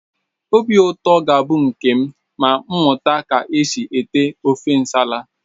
Obi ụtọ ga-abụ nke m ma mụta ka e si ete ofe nsala